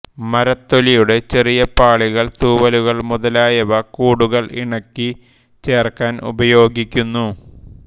മരത്തൊലിയുടെ ചെറിയ പാളികൾ തൂവലുകൾ മുതലായവ കൂടുകൾ ഇണക്കി ചേർക്കാൻ ഉപയോഗിക്കുന്നു